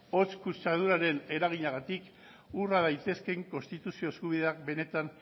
hots kutsaduraren eraginagatik urra daitezkeen konstituzio eskubideak benetan